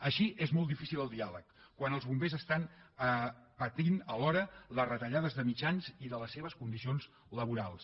així és molt difícil el diàleg quan els bombers pateixen alhora les retallades de mitjans i de les seves condicions laborals